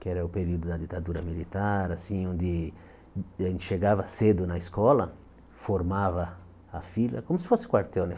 Que era o período da ditadura militar, assim, onde a gente chegava cedo na escola, formava a fila, como se fosse quartel, né?